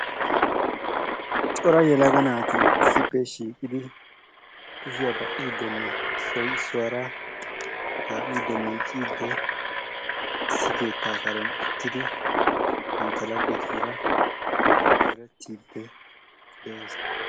Cora yelaga naati issippe shiiqidi kushiya baqqiidinne issoy issuwaara kaa'idde miicciidde issi keettaa karen uttidi bantta laggetuura zorettiidde de'oosona.